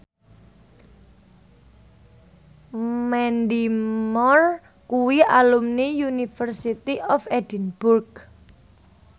Mandy Moore kuwi alumni University of Edinburgh